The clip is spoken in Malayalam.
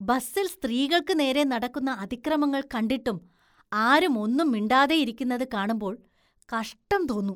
ബസില്‍ സ്ത്രീകള്‍ക്ക് നേരെ നടക്കുന്ന അതിക്രമങ്ങള്‍ കണ്ടിട്ടും ആരും ഒന്നും മിണ്ടാതെയിരിക്കുന്നത് കാണുമ്പോള്‍ കഷ്ടം തോന്നും.